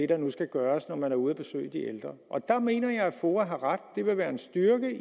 der nu skal gøres når man er ude at besøge de ældre og der mener jeg at foa har ret at det vil være en styrke